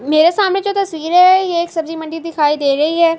میرے سامنے جو تشویر ہے، یہ ایک سبجی مندی دکھائی دے رہی ہے۔